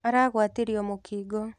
Aragwatirio I mũkingo.